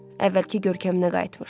Əvvəlki görkəminə qayıtmışdı.